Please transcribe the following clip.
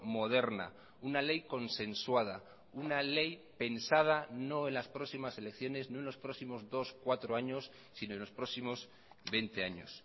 moderna una ley consensuada una ley pensada no en las próximas elecciones no en los próximos dos cuatro años sino en los próximos veinte años